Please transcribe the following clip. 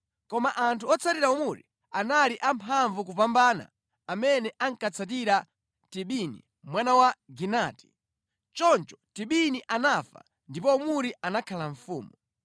Koma anthu otsatira Omuri anali amphamvu kupambana amene ankatsatira Tibini mwana wa Ginati. Choncho Tibini anafa ndipo Omuri anakhala mfumu.